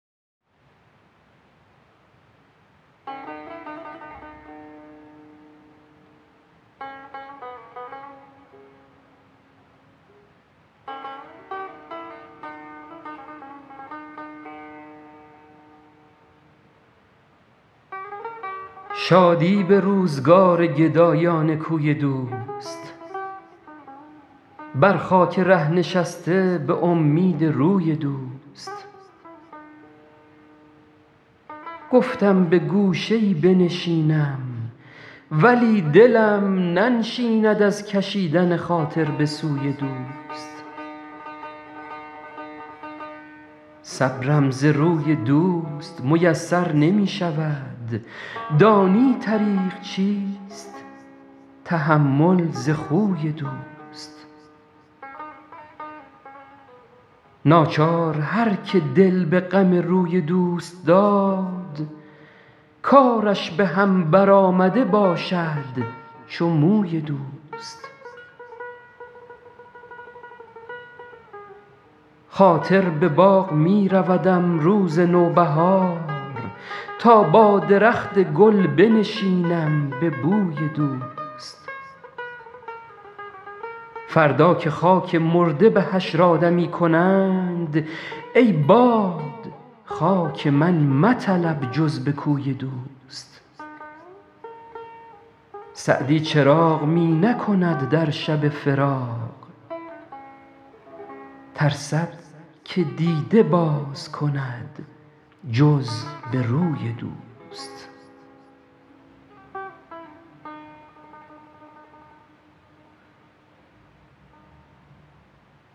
شادی به روزگار گدایان کوی دوست بر خاک ره نشسته به امید روی دوست گفتم به گوشه ای بنشینم ولی دلم ننشیند از کشیدن خاطر به سوی دوست صبرم ز روی دوست میسر نمی شود دانی طریق چیست تحمل ز خوی دوست ناچار هر که دل به غم روی دوست داد کارش به هم برآمده باشد چو موی دوست خاطر به باغ می رودم روز نوبهار تا با درخت گل بنشینم به بوی دوست فردا که خاک مرده به حشر آدمی کنند ای باد خاک من مطلب جز به کوی دوست سعدی چراغ می نکند در شب فراق ترسد که دیده باز کند جز به روی دوست